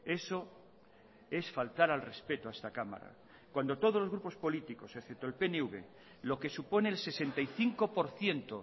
eso es faltar al respeto a esta cámara cuando todos los grupos políticos excepto el pnv lo que supone el sesenta y cinco por ciento